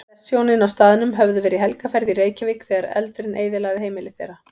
Prestshjónin á staðnum höfðu verið í helgarferð í Reykjavík þegar eldurinn eyðilagði heimili þeirra.